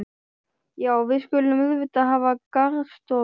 Já, við skulum auðvitað hafa garðstofu.